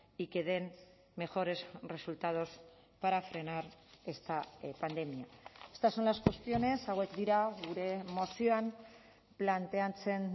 y que den mejores resultados para frenar esta pandemia estas son las cuestiones hauek dira gure mozioan planteatzen